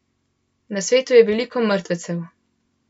Na svetu je veliko mrtvecev.